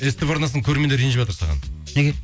ств арнасының көрермендері ренжіватыр саған неге